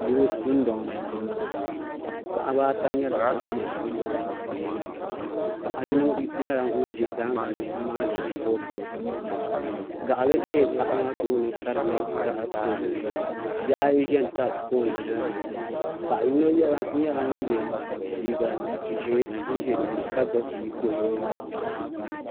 Yili dundoŋ ni n boŋo paɣaba ata nyɛla bin bɛ dundoŋ ŋo puuni paɣa yino nyɛla ŋun ʒi daangi ni n maani boofurooto gaɣali ʒɛ paɣa maa tooni ka di nyɛ gaɣa dozim bihi ayi ʒɛ n tan pool nimaani paɣa yino nyɛla ŋun yɛ liiga ʒiɛ n ʒɛ dinni ka gbubi bia ka o yɛ liiga piɛlli